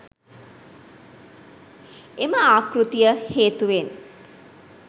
එම ආකෘතිය හේතුවෙන්